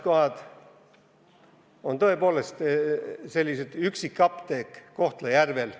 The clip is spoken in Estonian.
... nagu tõepoolest see üksik apteek Kohtla-Järvel.